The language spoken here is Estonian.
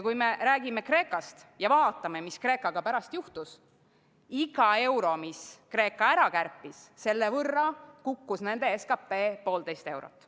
Kui me räägime Kreekast, siis vaatame, mis Kreekaga pärast juhtus: iga euro kohta, mis Kreeka ära kärpis, kukkus nende SKP poolteist eurot.